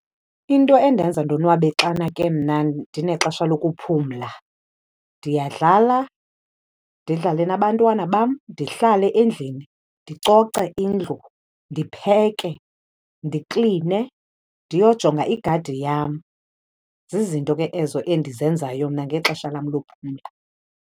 Into endenza ndonwabe xana ke mna ndinexesha lokuphumla, ndiyadlala, ndidlale nabantwana bam, ndihlale endlini, ndicoce indlu, ndipheke, ndikline, ndiyojonga igadi yam. Zizinto ke ezo endizenzayo mna ngexesha lam lokuphumla.